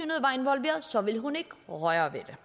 så ville hun ikke røre ved det